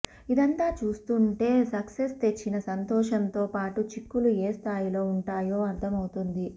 ఇదంతా చూస్తుంటే సక్సెస్ తెచ్చిన సంతోషం తో పాటు చిక్కులు ఏ స్థాయిలో వుంటాయో అర్ధమవుతుంది